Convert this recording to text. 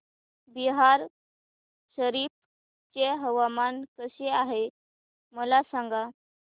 बिहार शरीफ चे हवामान कसे आहे मला सांगा